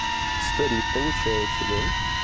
старик получается да